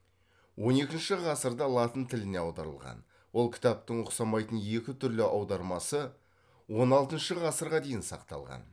он екіншіші ғасырда латын тіліне аударылған ол кітаптың ұқсамайтын екі түрлі аудармасы он алтыншы ғасырға дейін сақталған